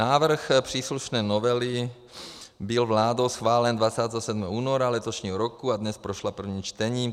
Návrh příslušné novely byl vládou schválen 27. února letošního roku a dnes prošla prvním čtením.